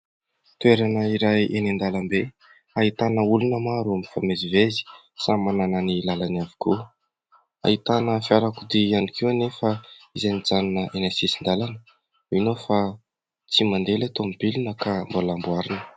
Toerana iray eny an-dalana be hahitana olona maro mifamezivezy samy manana ny lalany avokoa . Ahitana fiarakodia ihany koa anefa izay nijanona eny amin'ny sisin-dalana . Mino fa tsy mandeha ilay tomobilina ka mbola amboarina .